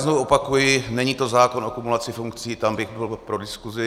Znovu opakuji, není to zákon o kumulaci funkcí, tam bych byl pro diskuzi.